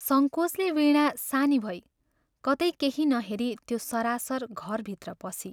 सङ्कोचले वीणा सानी भई कतै केही न हेरी त्यो सरासर घरभित्र पसी।